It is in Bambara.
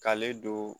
K'ale don